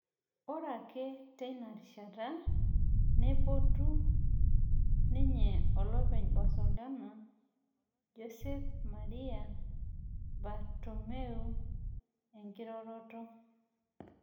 Ore ake teina rishata neipotu ninye olopeny Barcelona Josep Maria Bartomeu enkiroroto